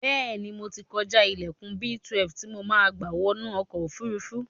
Bẹ́ẹ̀ ni, mo ti kọjá ilẹlkùn B12 tí mo máa gba wọnu ọkọ̀-òfurufú.